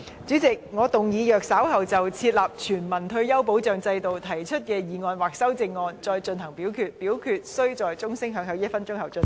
主席，我動議若稍後就"設立全民退休保障制度"所提出的議案或修正案再進行點名表決，表決須在鐘聲響起1分鐘後進行。